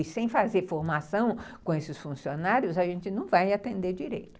E sem fazer formação com esses funcionários, a gente não vai atender direito.